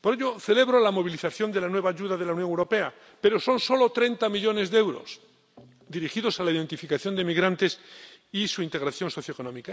Por ello, celebro la movilización de la nueva ayuda de la Unión Europea, pero son solo treinta millones de euros dirigidos a la identificación de inmigrantes y su integración socioeconómica.